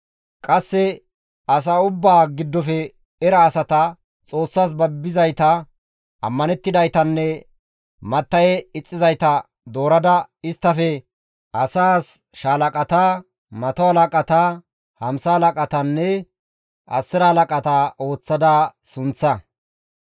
Qasse asa ubbaa giddofe era asata, Xoossas babbizayta, ammanettidaytanne matta7e ixxizayta doorada isttafe asaas shaalaqata, mato halaqata, hamsa halaqatanne asira halaqata histta sunththa.